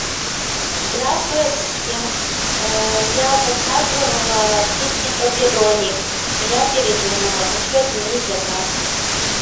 здравствуй ассистент я заказывала пиццу пепперони я передумала хочу отменить заказ